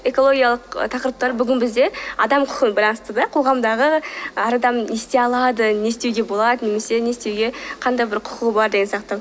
экологиялық тақырыптары бүгін бізде адам құқығымен байланысты да қоғамдағы әр адам не істей алады не істеуге болады немесе не істеуге қандай бір құқығы бар деген сияқты